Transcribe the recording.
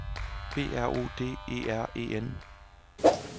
B R O D E R E N